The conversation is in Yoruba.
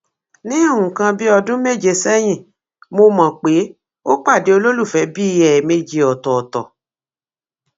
ní nǹkan bíi ọdún méje sẹyìn mo mọ pé ó pàdé olólùfẹ bíi ẹẹmejì ọtọọtọ